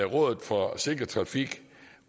rådet for sikker trafik